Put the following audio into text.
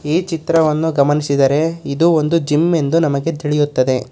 ಈ ಚಿತ್ರವನ್ನು ಗಮನಿಸಿದರೆ ಇದು ಒಂದು ಜಿಮ್ ಎಂದು ನಮಗೆ ತಿಳಿಯುತ್ತದೆ.